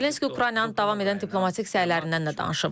Zelenski Ukraynanın davam edən diplomatik səylərindən də danışıb.